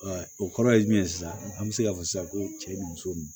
o kɔrɔ ye jumɛn ye sisan an bɛ se ka fɔ sisan ko cɛ ye muso ye